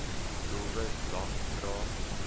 doelwit lang vrae